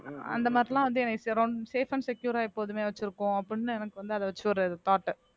அந்த மாதிரி எல்லாம் வந்து என்னை சிரம்~ safe and secure ஆ எப்போதுமே வச்சிருக்கோம் அபப்டினு எனக்கு வந்து அத வச்சு ஒரு thought உ